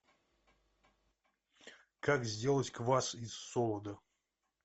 как сделать квас из солода